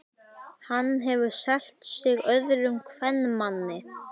Hann hefur selt sig öðrum kvenmanni.